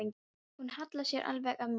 Hún hallaði sér alveg að mér.